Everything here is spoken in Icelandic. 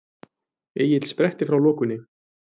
Egill spretti frá lokunni.